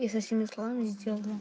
и со всеми словами сделали